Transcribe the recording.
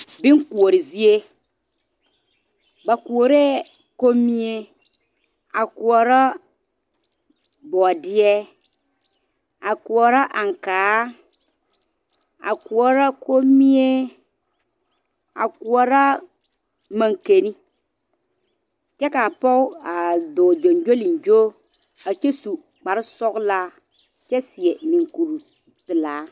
bonkoɔre zie ba koɔrɛɛ kombie a koɔrɔ bɔɔdeɛ a koɔrɔ ankaa a koɔrɔ kombie a koɔrɔ mankanni kyɛ ka pɔg a dɔɔ gyongyolingyo a kyɛ su kpare sɔglaa kye seɛ munkuru pelaa